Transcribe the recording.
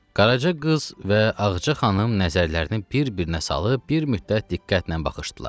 Qaraca qız və Ağca xanım nəzərlərini bir-birinə salıb, bir müddət diqqətlə baxışdılar.